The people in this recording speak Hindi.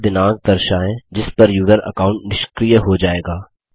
वह दिनांक दर्शायें जिस पर यूजर अकाउंट निष्क्रिय हो जायेगा